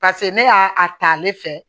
paseke ne y'a ta ale fɛ